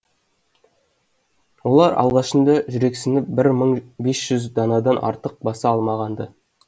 олар алғашында жүрексініп бір мың бес жүз данадан артық баса алмаған ды